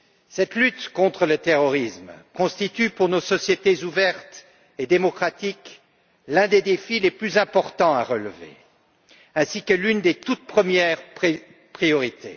Cette lutte contre le terrorisme constitue, pour nos sociétés ouvertes et démocratiques, l'un des défis les plus importants à relever ainsi que l'une des toutes premières priorités.